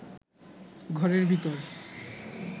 ঘরের ভিতর